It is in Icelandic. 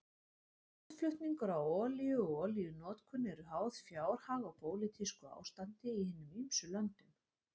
Útflutningur á olíu og olíunotkun eru háð fjárhag og pólitísku ástandi í hinum ýmsu löndum.